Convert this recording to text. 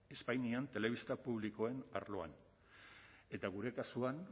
espainian telebista publikoen arloan eta gure kasuan